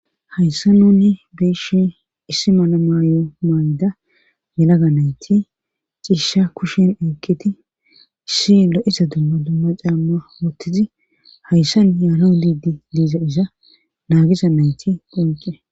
Hayssa nunni beshe issi mana maayo mayda yelaga nayti ciisha kushen eekketi shi lo7isa dumma dumma caamma wottizi hayssan yaano liidi diiza iza naagiza nayti phonqe